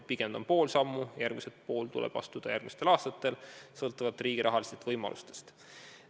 Pigem ta on pool sammu, teine pool tuleb astuda järgmistel aastatel, sõltuvalt riigi rahalistest võimalustest.